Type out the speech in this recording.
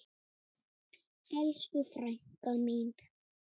Það gengur bara ekki.